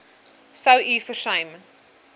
sou u versuim